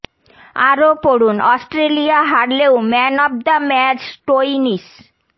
আরও পড়ুন অস্ট্রেলিয়া হারলেও man of the match Stoinis